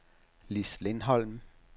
Lis Lindholm